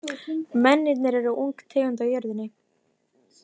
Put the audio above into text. Mennirnir eru ung tegund á jörðinni.